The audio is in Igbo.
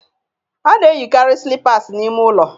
A na-eyikarị slippers n'ime ụlọ